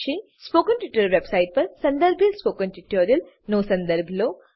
spoken tutorial website પર સંદર્ભિત spoken ટ્યુટોરીયલોનો સંદર્ભ લો